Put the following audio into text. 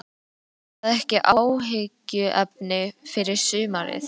Er það ekki áhyggjuefni fyrir sumarið?